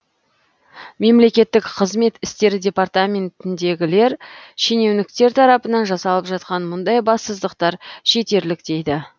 мемлекеттік қызмет істері департаментіндегілер шенеуніктер тарапынан жасалып жатқан мұндай бассыздықтар жетерлік дейді